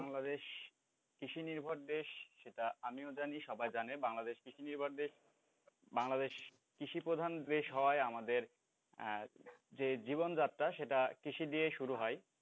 বাংলাদেশ কৃষি নির্ভর দেশ সেটা আমিও জানি সবাই জানে, বাংলাদেশ কৃষি নির্ভর দেশ বাংলাদেশ কৃষি প্রধান দেশ হওয়ায় আমাদের যে জীবনযাত্রা সেটা কৃষি দিয়েই শুরু হয়।